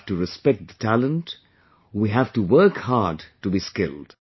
We have to respect the talent, we have to work hard to be skilled